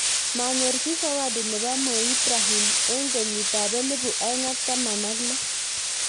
Manyor chii zawadi nebo Mo ibrahim eng' kenyit ab elibu aeng' ak taman ak lo